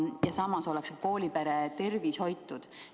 Ja samas oleks koolipere tervis hoitud.